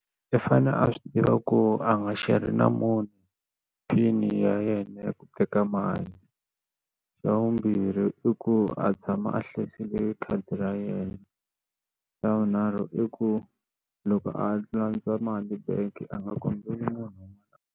I fane a swi tiva ku a nga xerhi na munhu pin ya yena ya ku teka mali xa vumbirhi i ku a tshama a hlayisile khadi ra yena xa vunharhu i ku loko a landza mali bank a nga kombela munhu un'wana.